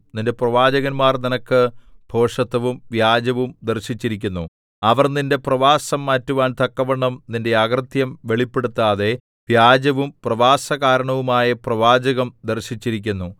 നിന്റെ പ്രവാചകന്മാർ നിനക്ക് ഭോഷത്വവും വ്യാജവും ദർശിച്ചിരിക്കുന്നു അവർ നിന്റെ പ്രവാസം മാറ്റുവാൻ തക്കവണ്ണം നിന്റെ അകൃത്യം വെളിപ്പെടുത്താതെ വ്യാജവും പ്രവാസകാരണവുമായ പ്രവാചകം ദർശിച്ചിരിക്കുന്നു